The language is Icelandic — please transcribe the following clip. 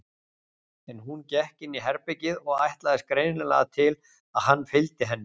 En hún gekk inn í herbergið og ætlaðist greinilega til að hann fylgdi henni.